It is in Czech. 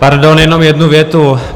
Pardon, jenom jednu větu.